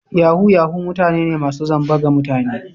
Yahoo Yahoo mutane ne masu zamba ga mutane.